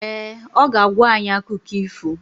Ee, ọ ga-agwa anyị akụkọ ifo